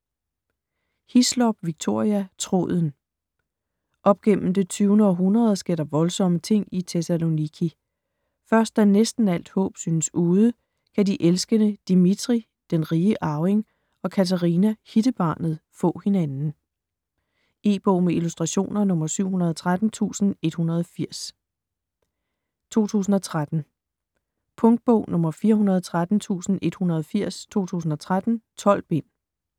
Hislop, Victoria: Tråden Op gennem det 20. århundrede sker der voldsomme ting i Thessaloniki. Først da næsten alt håb synes ude, kan de elskende Dimitri (den rige arving) og Katerina (hittebarnet) få hinanden. E-bog med illustrationer 713180 2013. Punktbog 413180 2013. 12 bind.